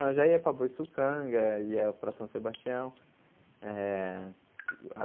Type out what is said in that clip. Eu já ia para Boiçucanga, ia para São Sebastião eh.